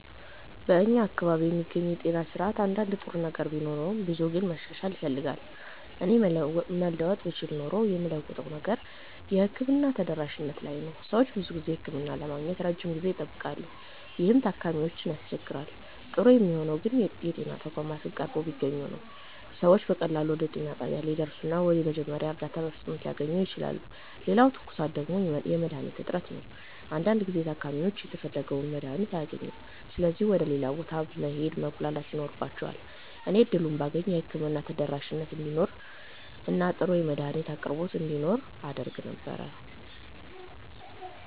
በእኛ አካባቢ የሚገኘው የጤና ስርዓት አንዳንድ ጥሩ ነገር ቢኖረውም ብዙው ግን መሻሻል ይፈልጋል። እኔ መለወጥ ብችል ኖሮ የምለውጠው ነገር የሕክምና ተደራሽነት ላይ ነው። ሰዎች ብዙ ጊዜ ህክምና ለማግኘት ረጅም ጊዜ ይጠብቃሉ፣ ይህም ታካሚዎችን ያስቸግራል። ጥሩ የሚሆነው ግን የጤና ተቋማት ቀርበው ቢገኙ ነው። ሰዎች በቀላሉ ወደ ጤና ጣቢያ ሊደርሱ እና የመጀመሪያ እርዳታ በፍጥነት ሊያገኙ ይችላሉ። ሌላው ትኩሳት ደግሞ የመድሀኒት እጥረት ነው። አንዳንድ ጊዜ ታካሚዎች የተፈለገውን መድሀኒት አያገኙም ስለዚህ ወደ ሌላ ቦታ መሄድ እና መጉላላት ይኖርባቸዋል። እኔ እድሉን ባገኝ የህክምና ተደራሽነት እንዲኖር እና ጥሩ የመድሀኒት አቅርቦት እንዲኖር አደርግ ነበር።